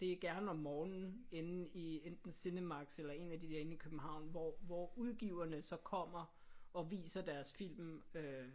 Det er gerne om morgenen inde i enten CinemaxX eller en af de der inde i København hvor hvor udgiverne så kommer og viser deres film. Øh